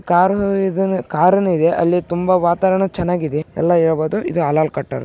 ಕರಾರ್ ಕಾರುನೂ ಇದೆ ಅಲ್ಲಿ ತುಂಬಾ ವಾತಾವರಣ ತುಂಬಾ ಚೆನ್ನಾಗಿದೆ ಎಲ್ಲಾ ಹೇಳಬಹುದು ಇದು ಅಲ್ಲಲ್ಲಕಟ್ಟರ್.